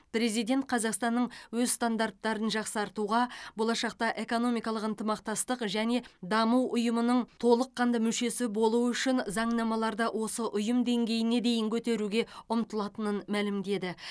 президент қазақстанның өз стандарттарын жақсартуға болашақта экономикалық ынтымақтастық және даму ұйымының толыққанды мүшесі болу үшін заңнамаларды осы ұйым деңгейіне дейін көтеруге ұмтылатынын мәлімдеді